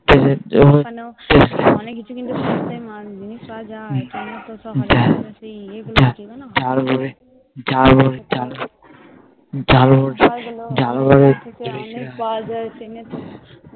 অনেক কিছু জিনিস ঝাল মুড়ি